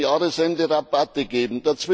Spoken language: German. Man muss am Jahresende Rabatte geben.